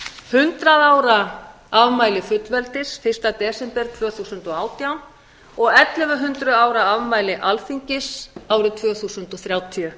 hundrað ára afmæli fullveldis fyrsta desember tvö þúsund og átján og ellefu hundruð ára afmæli alþingis árið tvö þúsund og þrjátíu